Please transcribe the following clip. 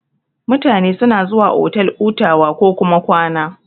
Mutane suna zuwa otal hutawa kokuma kwana.